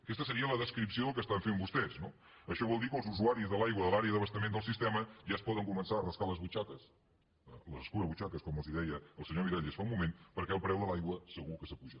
aquesta seria la descripció del que està fent vostès no això vol dir que els usuaris de l’aigua de l’àrea d’abastament del sistema ja es poden començar a rascar les butxaques les escurabutxaques com els deia el senyor miralles fa un moment perquè el preu de l’aigua segur que s’apuja